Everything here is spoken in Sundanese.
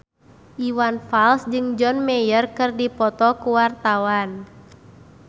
Iwan Fals jeung John Mayer keur dipoto ku wartawan